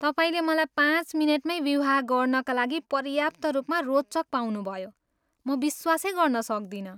तपाईँले मलाई पाँच मिनेटमै विवाह गर्नाका लागि पर्याप्त रूपमा रोचक पाउनुभयो, म विश्वासै गर्न सक्दिनँ।